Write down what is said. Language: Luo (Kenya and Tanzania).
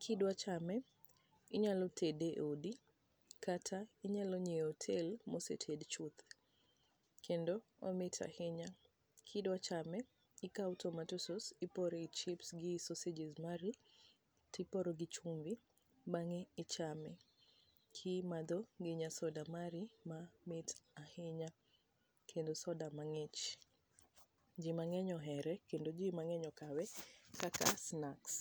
Ka idwa chame inyalo tede e odi, kata inyalo nyiewo e hotel ma oseted chuth. Kendo omit ahinya. Kidwa chamo, ikawo tomato sauce, iporo e wi chips gi sausages mari, to ipori gi chumbi, bang'e ichame. Kimadho gi nya soda mari ma mit ahinya. Kendo soda mang'ich. Ji mang'eny ohere, kendo ji mang'eny okawe kaka snacks.